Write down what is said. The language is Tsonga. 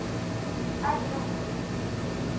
a ri na ku twisisa